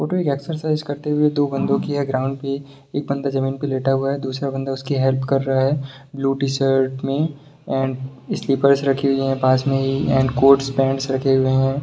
Photo ये exercise करते हुए दो बंदो की है ग्राउंड पे एक बंदा जमीन पर लेटा हुआ है दूसरा बंदा उसकी हेल्प कर रहा है ब्लू टी शर्ट में एंड स्लीपर्स रखी हुई है पास में ही और कोट्स पेंट्स रखे हुए हैं।